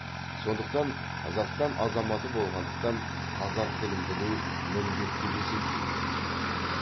сондықтан қазақстан азаматы болғандықтан қазақ тілін білу міндет деп есептеймін